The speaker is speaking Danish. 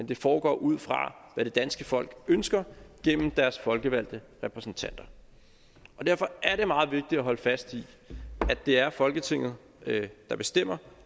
det foregår ud fra hvad det danske folk ønsker gennem deres folkevalgte repræsentanter derfor er det meget vigtigt at holde fast i at det er folketinget der bestemmer